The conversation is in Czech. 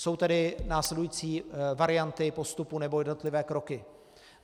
Jsou tedy následující varianty postupu, nebo jednotlivé kroky.